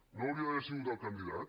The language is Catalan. no hauria d’haver sigut el candidat